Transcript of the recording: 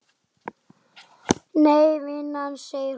Nei vinan, segir hún.